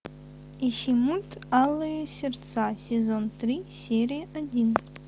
ищи мульт алые сердца сезон три серия один